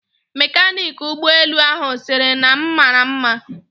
Mekaniki ụgbọelu ahụ sịrị m na m mara nma